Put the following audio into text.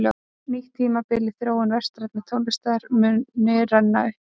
Nýtt tímabil í þróun vestrænnar tónlistar muni renna upp.